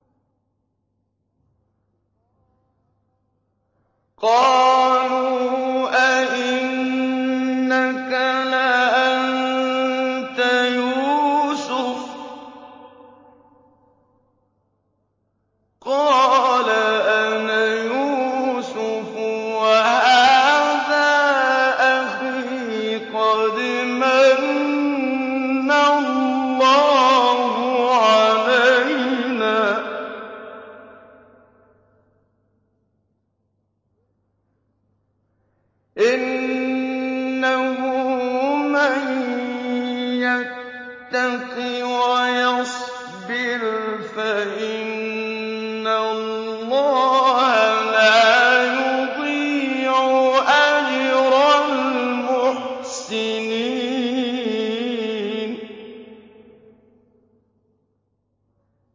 قَالُوا أَإِنَّكَ لَأَنتَ يُوسُفُ ۖ قَالَ أَنَا يُوسُفُ وَهَٰذَا أَخِي ۖ قَدْ مَنَّ اللَّهُ عَلَيْنَا ۖ إِنَّهُ مَن يَتَّقِ وَيَصْبِرْ فَإِنَّ اللَّهَ لَا يُضِيعُ أَجْرَ الْمُحْسِنِينَ